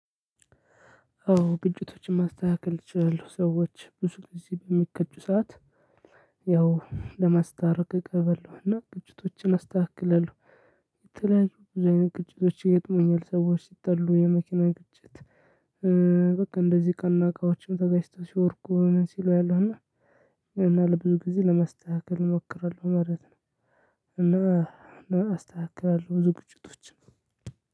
አዎ ግጭቶችን ማስተካከል እችላሉሁ ሰዎች ብዙ ጊዜ በሚጋጩ ሰዓት። ያው ለማስታረቅ እገባለውና ግጭቶችን አስተካክለው። የተለያዩ ብዙ አይነት ግጭቶች። ሰዎች ሲጣሉ የመኪና ግጭት። በቃ እንደዚህ እቃና እቃዎችም ተጋጭተው ሲወርቁ ሲሉ አያለውና። ለብዙ ጊዜ ለማስተካከል እሞክራለሁ ማለት ነው። እና እና አስተካክላለሁ ብዙ ግጭቶችን።